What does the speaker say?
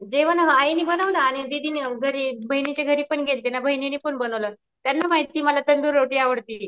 जेवण आईने बनवलं आणि दीदी ने घरी बहिणीच्या घरीपण गेल्ते ना बहिणीने पण बनवलं.त्यांना माहितीये मला तंदूर रोटी आवडती.